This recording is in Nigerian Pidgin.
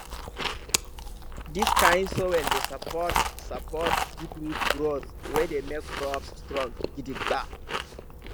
dis kind soil dey support support deep root growth wey dey make crops strong gidigba